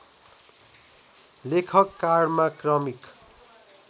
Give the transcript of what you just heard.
लेखक कार्डमा क्रमिक